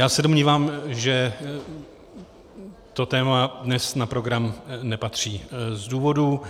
Já se domnívám, že to téma dnes na program nepatří z důvodů,